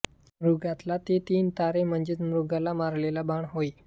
मृगातील ते तीन तारे म्हणजे मृगाला मारलेला बाण होय